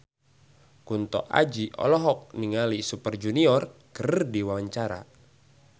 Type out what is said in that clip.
Kunto Aji olohok ningali Super Junior keur diwawancara